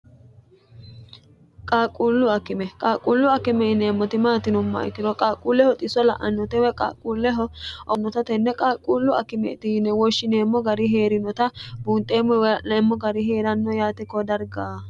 qaaquullu akime qaaqquullu akime yineemmoti maati yinummoha ikiro qaaquulleho xiso la'annote woy qaaquulleho owante tenne qaaquullu akimeeti yine woshshineemmo gari hee'rinota buunxeemmo woy l'neemmo gari hee'ranno yaate ko dargaa